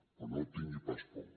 però no tingui pas por